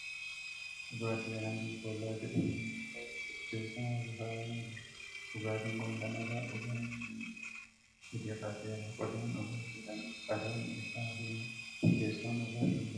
Dhugaatii Alangi kollaa jedhamu yommuu ta'u, teessuma irra kaawwamee jira. Dhugaatiin kun kan irraa dhugame yommuu ta'u gad hir'ateera. Qodaan dhugaatii kanaa qadaadni isaa diimaadha. Teessoon dhugaatiin Kun irra taa'ee jiru maal jedhama?